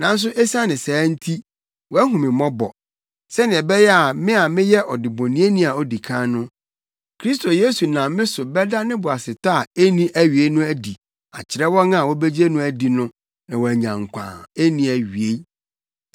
Nanso esiane saa nti, wahu me mmɔbɔ, sɛnea ɛbɛyɛ a me a meyɛ ɔdebɔneyɛni a odi kan no, Kristo Yesu nam me so bɛda ne boasetɔ a enni awiei no adi akyerɛ wɔn a wobegye no adi no na wɔanya nkwa a enni awiei.